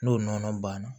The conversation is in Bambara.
N'o nɔnɔ banna